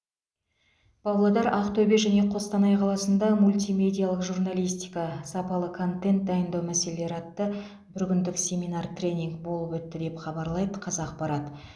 павлодар ақтөбе және қостанай қаласында мультимедиалық журналистика сапалы контент дайындау мәселелері атты бір күндік семинар тренинг болып өтті деп хабарлайды қазақпарат